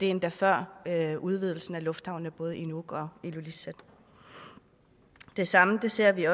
endda før udvidelsen af lufthavnene i nuuk og ilulissat det samme ser vi